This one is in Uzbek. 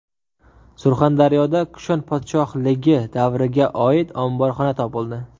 Surxondaryoda Kushon podshohligi davriga oid omborxona topildi .